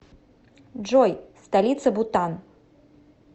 джой столица бутан